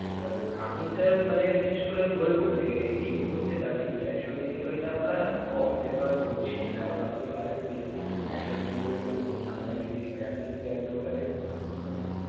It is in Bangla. এবার আমি sir মানে বিশেষ করে বলব যে এই মুহূর্তে দাঁড়িয়ে cash on delivery টা আমরা কম prefer করছি কারণ আপনি জানেন যে cash on delivery আমরা যদি মানে আপনি যদি দেন তো ওটাতে.